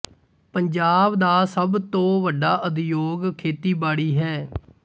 ਪੰਜਾਬ ਦਾ ਸਭ ਤੋਂ ਵੱਡਾ ਉਦਯੋਗ ਖੇਤੀਬਾੜੀ ਹੈ